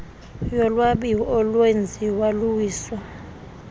yolwabiwo olwenziwo luwiso